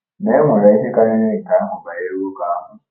Ma e nwere ihe karịrị nke ahụ banyere nwoke ahụ.